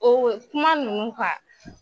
O kuma ninnu